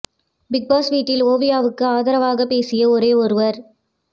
big Boss வீட்டில் ஓவியாவுக்கு ஆதரவாக பேசிய ஒரே ஒருவர்